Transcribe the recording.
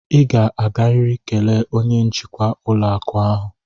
Ị ga-agarịrị kelee onye njikwa ụlọakụ ahụ!